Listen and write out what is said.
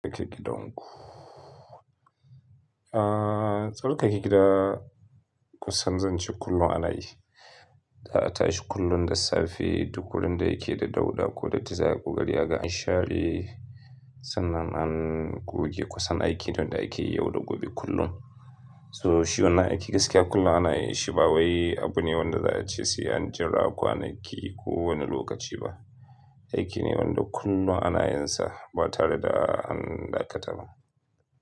Tsarke gidan ku. Aa, tsarkake gida kusan zan ce kullum ana yi. Za a tashi kullum da safe duk wurin da yake da dauɗa ko dattiza ai ƙo ƙari aga an share. Sannan an goge kusan aikin da ake yi yau da gobe kullum. So shi wannan aiki gaskiya kullum ana yi, shi ba wai abu ne wanda za a ce an jira kwanaki kowane lokaci ba. Aiki ne wanda kullum ana yin sa ba tare da an dakata ba.